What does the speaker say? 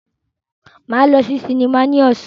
Máa lọ sí sinimá ní ọ̀sán.